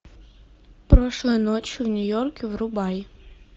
прошлой ночью в нью йорке врубай